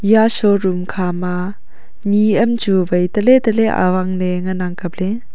iya show room khama ni am chu vai tahle tahle awang ley ngan ang kapley.